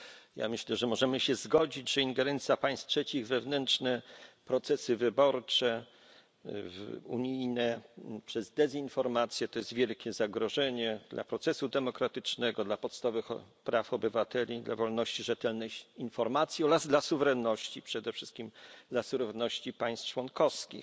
Ja myślę, że możemy się zgodzić, że ingerencja państw trzecich w wewnętrzne unijne procesy wyborcze przez dezinformację to jest wielkie zagrożenie dla procesu demokratycznego, dla podstawowych praw obywateli, dla wolności, rzetelnej informacji oraz dla suwerenności, przede wszystkim dla suwerenności państw członkowskich.